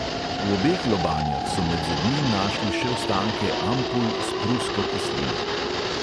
V obeh lobanjah so med zobmi našli še ostanke ampul s prusko kislino.